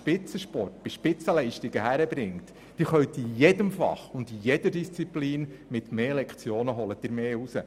Sie holen in jeder Disziplin mit mehr Lektionen mehr heraus.